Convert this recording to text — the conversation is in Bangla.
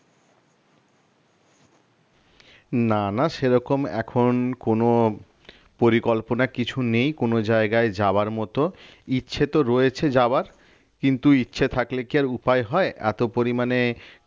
না না সেরকম এখন কোন পরিকল্পনা কিছু নেই কোন জায়গায় যাওয়ার মতো ইচ্ছা তো রয়েছে যাওয়ার কিন্তু ইচ্ছে থাকলে আর কি উপায় হয় এত পরিমানে কাজ